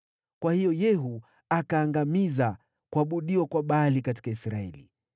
Kwa hiyo Yehu akaangamiza kuabudiwa kwa Baali katika Israeli.